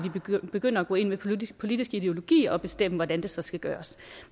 vi begynder at gå ind med politiske politiske ideologier og bestemmer hvordan det så skal gøres